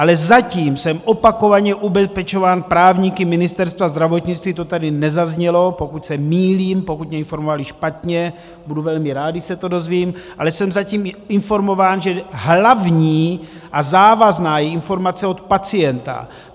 Ale zatím jsem opakovaně ubezpečován právníky Ministerstva zdravotnictví - to tady nezaznělo, pokud se mýlím, pokud mě informovali špatně, budu velmi rád, když se to dozvím - ale jsem zatím informován, že hlavní a závazná je informace od pacienta.